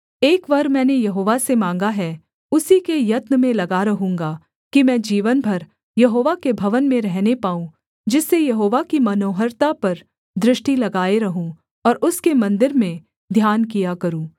एक वर मैंने यहोवा से माँगा है उसी के यत्न में लगा रहूँगा कि मैं जीवन भर यहोवा के भवन में रहने पाऊँ जिससे यहोवा की मनोहरता पर दृष्टि लगाए रहूँ और उसके मन्दिर में ध्यान किया करूँ